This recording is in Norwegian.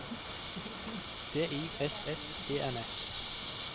D I S S E N S